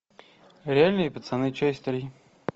реальные пацаны часть три